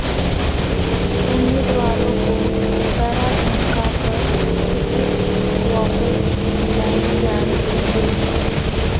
امیدواروں کو ڈرا دھمکا کر ٹکٹ واپس دلائے جارہے ہیں